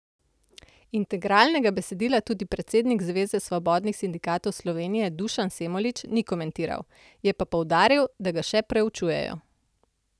Integralnega besedila tudi predsednik Zveze svobodnih sindikatov Slovenije Dušan Semolič ni komentiral, je pa poudaril, da ga še preučujejo.